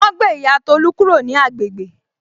Wọn ó gbé ìyá Tolu kúrò ní agbègbè